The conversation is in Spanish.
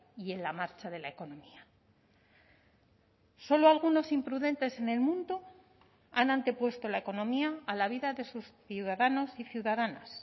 y en la marcha de la economía solo algunos imprudentes en el mundo han antepuesto la economía a la vida de sus ciudadanos y ciudadanas